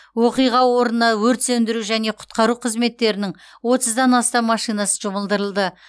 оқиға орнына өрт сөндіру және құтқару қызметтерінің отыздан астам машинасы жұмылдырылды